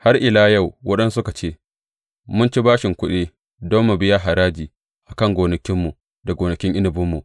Har illa yau waɗansu suka ce, Mun ci bashin kuɗi don mu biya haraji a kan gonakinmu, da gonakin inabinmu.